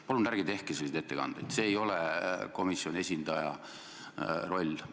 Palun ärge tehke selliseid ettekandeid, see ei ole komisjoni esindaja roll.